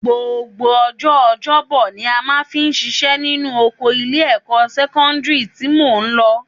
Gbogbo ọjọ́ ọjọ́bọ ni a máa ṣiṣẹ́ nínú oko ilé-ẹ̀kọ́ sẹ́kọ́ndírì tí mo lọ